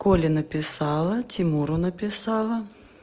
коле написала тимуру написала